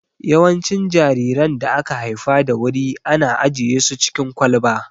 Yawancin jariran da aka haifa da wuri ana ajiye su cikin kwalba